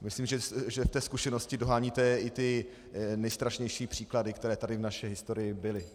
Myslím, že v té zkušenosti doháníte i ty nejstrašnější příklady, které tady v naší historii byly.